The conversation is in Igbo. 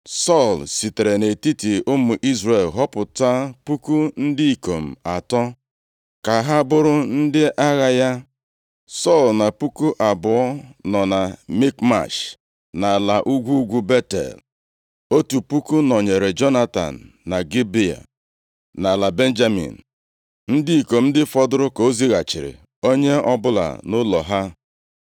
Sọl sitere nʼetiti ụmụ Izrel họpụta puku ndị ikom atọ ka ha bụrụ ndị agha ya. Sọl na puku abụọ nọ na Mikmash nʼala ugwu ugwu Betel. Otu puku nọnyeere Jonatan na Gibea, nʼala Benjamin. Ndị ikom ndị fọdụrụ ka o zighachiri, onye ọbụla nʼụlọ ha.